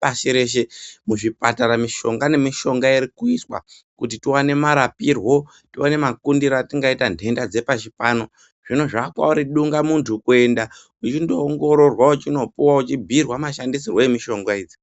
pashi reshe. Muzvipatara mishonga nemishonga irikuiswa kuti tiwane marapirwo, tiwane makundiro atingaita nhenda dzepashi pano. Zvino zvaakwauri dungamuntu kuenda uchindoongororwa, uchinopuwa uchindobhuirwa mashandisirwo emishonga idzi.